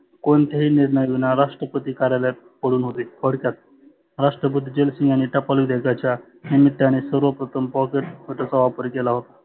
कोणत्याची निर्णयाविना राष्ट्रपती कार्यालयात पडुन होते थोडक्यात. राष्ट्रपती झैल सिंगानी टपाल विधेयकाच्या निमित्ताने सर्वप्रथम pocket नकाराचा वापर केला होता.